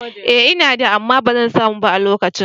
Ee ina da, amma ba zan samu ba a lokacin.